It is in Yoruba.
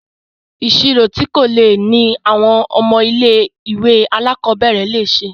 Ìṣirò tí kò le ní àwọn ọmọ ilé ìwé alákọ̀berẹ̀ le ṣe.